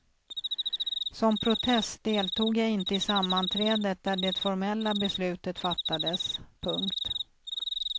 Som protest deltog jag inte i sammanträdet där det formella beslutet fattades. punkt